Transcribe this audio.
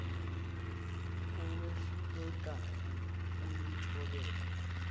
owehluleka ukuyi thobela